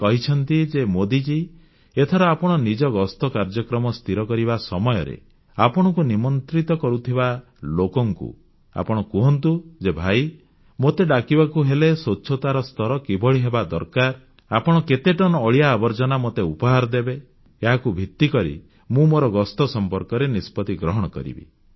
ସେ କହିଛନ୍ତି ଯେ ମୋଦିଜୀ ଏଥର ଆପଣ ନିଜ ଗସ୍ତ କାର୍ଯ୍ୟକ୍ରମ ସ୍ଥିର କରିବା ସମୟରେ ଆପଣଙ୍କୁ ନିମନ୍ତ୍ରଣ କରୁଥିବା ଲୋକଙ୍କୁ କହନ୍ତୁ ଯେ ଭାଇ ମୋତେ ଡାକିବାକୁ ହେଲେ ସ୍ୱଚ୍ଛତାର ସ୍ତର କିଭଳି ହେବା ଦରକାର ଆପଣ କେତେ ଟନ୍ ଅଳିଆ ଆବର୍ଜନା ମୋତେ ଉପହାରରେ ଦେବେ ଏହାକୁ ଭିତ୍ତିକରି ମୁଁ ମୋର ଗସ୍ତ ସମ୍ପର୍କରେ ନିଷ୍ପତ୍ତି ଗ୍ରହଣ କରିବି